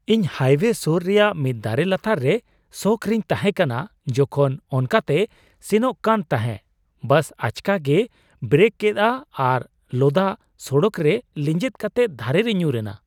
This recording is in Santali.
ᱤᱧ ᱦᱟᱭᱵᱮ ᱥᱳᱨ ᱨᱮᱭᱟᱜ ᱢᱤᱫ ᱫᱟᱨᱮ ᱞᱟᱛᱟᱨ ᱨᱮ ᱥᱚᱠ ᱨᱮᱧ ᱛᱟᱦᱮᱸ ᱠᱟᱱᱟ ᱡᱚᱠᱷᱚᱱ ᱚᱱᱠᱟᱛᱮ ᱥᱮᱱᱚᱜ ᱠᱟᱱ ᱛᱟᱦᱮᱸᱜ ᱵᱟᱥ ᱟᱪᱠᱟ ᱜᱮᱭ ᱵᱨᱮᱠ ᱠᱮᱜᱼᱟ ᱟᱨ ᱞᱚᱫᱟ ᱥᱚᱲᱚᱠ ᱨᱮ ᱞᱮᱸᱡᱮᱫ ᱠᱟᱛᱮᱜ ᱫᱷᱟᱨᱮ ᱨᱮ ᱧᱩᱨ ᱮᱱᱟ ᱾